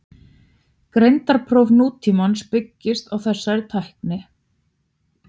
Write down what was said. Greindarpróf nútímans byggjast á þessari tækni.